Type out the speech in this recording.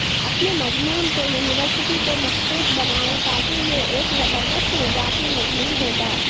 اپنے مضمون کو یونیورسٹی کو مخصوص بنائیں تاکہ یہ ایک زبردست اضافی مضمون ہوگا